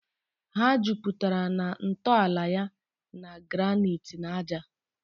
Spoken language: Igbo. Ha juputara na ntọala ya na granite na ájá.